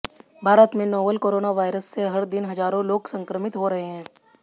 भारत में novel corona virus से हर दिन हजारों लोग संक्रमित हो रहे हैं